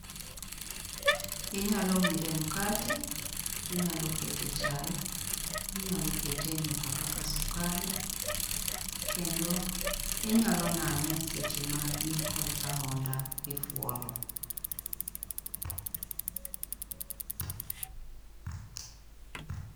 Inyalo wiro e mkati, inyalo keto e chai, inyalo kete e nyuka kaka sukari kendo inyalo nang'e eseche ma in kod ahonda kifuolo.